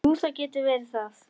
Jú, það getur verið það.